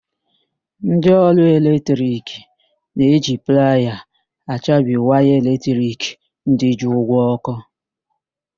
Ndị ọrụ eletrik na-eji playa achabi waya eletrik ndị ji ụgwọ ọ́kụ́.